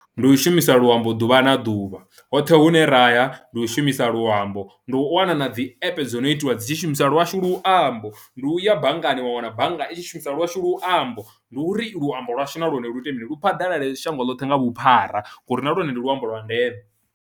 Ndi u shumisa luambo ḓuvha na ḓuvha hoṱhe hune ra ya ndi u shumisa luambo, ndi u wana na dzi app dzo no itiwa dzi tshi shumisa lwashu luambo ndi uya banngani wa wana bannga i tshi shumisa lwashu luambo. Ndi uri luambo lwashu na lwone lu ite mini lu phaḓalale shango ḽoṱhe nga vhuphara ngori na lwone ndi luambo lwa ndeme.